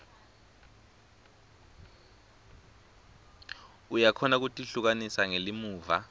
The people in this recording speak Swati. uyakhona kutihlukanisa ngelimuva